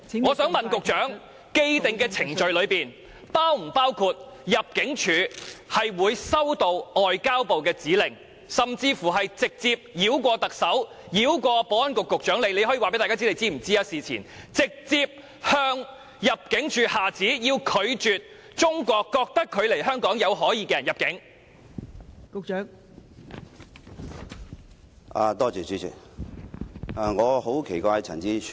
我想問局長，既定程序是否包括入境處收到外交部的指令，甚至由外交部繞過特首和保安局局長——局長，你可以告訴大家你事前是否知悉此事——直接向入境處下旨，須拒絕中國政府認為來港目的有可疑的人士入境？